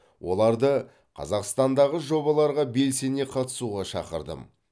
оларды қазақстандағы жобаларға белсене қатысуға шақырдым